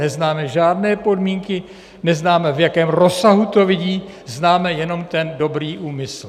Neznáme žádné podmínky, neznáme, v jakém rozsahu to vidí, známe jenom ten dobrý úmysl.